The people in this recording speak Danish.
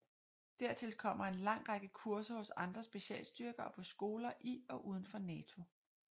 Dertil kommer en lang række kurser hos andre specialstyrker og på skoler i og uden for NATO